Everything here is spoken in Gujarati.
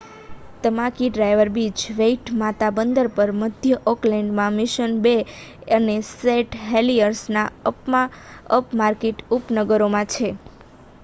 તમાકી ડ્રાઈવ બીચ વેઇટમાતા બંદર પર મધ્ય ઑકલેન્ડમાં મિશન બે અને સેંટ હેલિયર્સના અપમાર્કેટ ઉપનગરોમાં છે